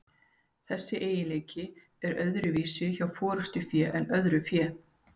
Þessi eiginleiki er þó öðruvísi hjá forystufé en öðru fé.